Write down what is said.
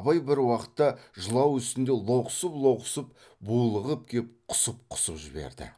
абай бір уақытта жылау үстінде лоқсып лоқсып булығып кеп құсып құсып жіберді